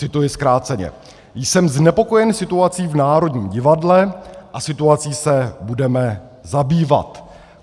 Cituji zkráceně: "Jsem znepokojen situací v Národním divadle a situací se budeme zabývat."